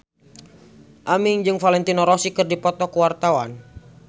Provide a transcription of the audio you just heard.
Aming jeung Valentino Rossi keur dipoto ku wartawan